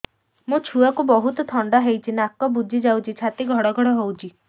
ମୋ ଛୁଆକୁ ବହୁତ ଥଣ୍ଡା ହେଇଚି ନାକ ବୁଜି ଯାଉଛି ଛାତି ଘଡ ଘଡ ହଉଚି